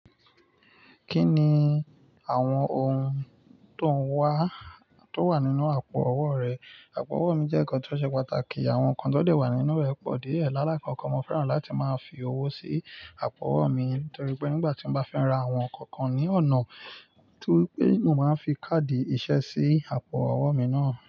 Kí ni àwọn ohun tó n wà, to wa nínú àpò owó rẹ? Àpò owó mi jẹ́ ǹkan tó ṣe pàtàkì. Àwọn nǹkan tó dé wà nínú rẹ̀ pọ̀ dié. Lálákoko, mo fẹ́ràn láti máa fi owó sí àpò owó mi nítorí pé nígbà tí mo bá fẹ́ ra àwọn nǹkan kan ní ọ̀nà tóri pé, mo máa ń fi káàdì ìṣe sí àpò owó mi náà.